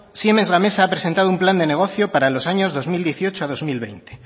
siemens gamesa ha presentado un plan de negocio para los años dos mil dieciocho a dos mil veinte